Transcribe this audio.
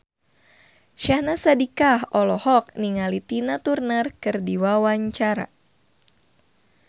Syahnaz Sadiqah olohok ningali Tina Turner keur diwawancara